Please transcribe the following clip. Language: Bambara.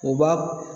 U b'a